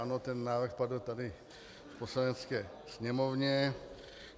Ano, ten návrh padl tady v Poslanecké sněmovně.